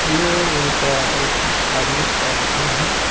ये उनका एक धार्मिक स्थल है.